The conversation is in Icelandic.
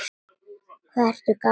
Hvað ertu gamall, vinur?